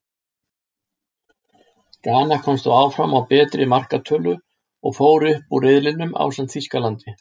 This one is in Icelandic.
Gana komst þó áfram á betri markatölu, og fór upp úr riðlinum ásamt Þýskalandi.